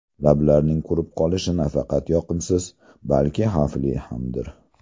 Lablarning qurib qolishi nafaqat yoqimsiz, balki xavfli hamdir.